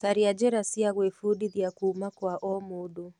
Caria njĩra cia gwĩbundithia kuuma kwa o mũndũ.